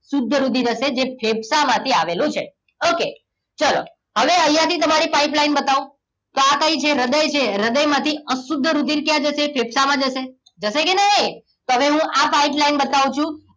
શુદ્ધ રુધિર હશે જે ફેફસામાં થી આવેલું છે okay ચલો હવે અહીંયા થી તમારી pipeline બતાવો તો આ કઈ છે હૃદય છે હૃદયમાંથી અશુદ્ધ રુધિર ક્યાં જશે ફેફસામાં જશે જશે કે નહીં તમને હું આ pipeline બતાવું છું